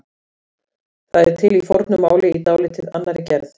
Það er til í fornu máli í dálítið annarri gerð.